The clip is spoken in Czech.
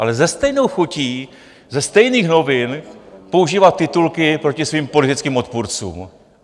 Ale se stejnou chutí ze stejných novin používá titulky proti svým politickým odpůrcům.